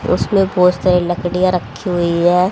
उसमें बहुत सारी लकड़ियां रखी हुई है।